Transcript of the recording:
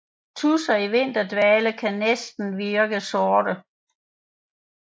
Tudser i vinterdvale kan virke næsten sorte